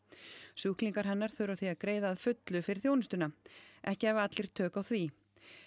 sjúklingar hennar þurfa því að greiða að fullu fyrir þjónustuna ekki hafi allir tök á því